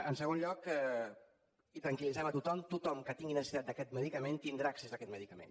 en segon lloc i tranquil·litzant a tothom tothom que tingui necessitat d’aquest medicament tindrà accés a aquest medicament